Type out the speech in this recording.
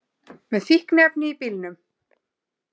Með fíkniefni í bílnum